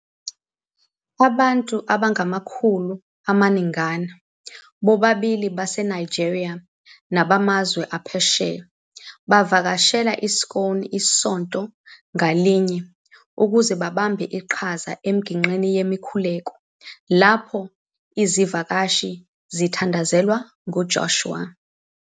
Abantu abangamakhulu amaningana, bobabili baseNigeria nabamazwe aphesheya, bavakashela i-SCOAN isonto ngalinye ukuze babambe iqhaza emigqeni yemikhuleko, lapho izivakashi zithandazelwa khona nguJoshua.